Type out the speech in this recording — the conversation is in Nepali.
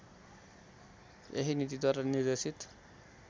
यही नीतिद्वारा निर्देशित